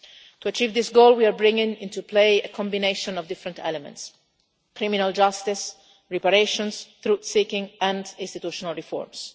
To achieve this goal, we are bringing into play a combination of different elements criminal justice, reparations, truth seeking and institutional reforms.